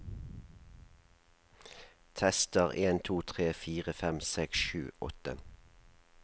Tester en to tre fire fem seks sju åtte